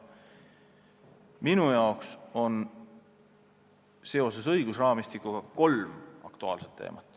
Minu jaoks on õigusraamistiku tõttu kolm aktuaalset teemat.